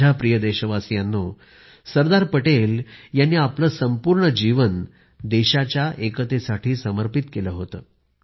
माझ्या प्रिय देशवासीयांनो सरदार पटेल यांनी आपले संपूर्ण जीवन देशाच्या एकतेसाठी समर्पित केले होते